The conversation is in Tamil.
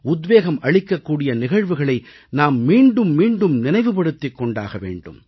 உத்வேகம் அளிக்கக் கூடிய நிகழ்வுகளை நாம் மீண்டும் மீண்டும் நினைவுபடுத்திக் கொண்டாக வேண்டும்